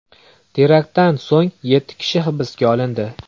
Teraktdan so‘ng yetti kishi hibsga olindi.